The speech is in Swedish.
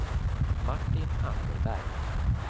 Martin Anderberg